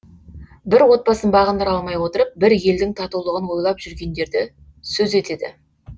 бір отбасын бағындыра алмай отырып бір елдің татулығын ойлап жүргендерді сөз етеді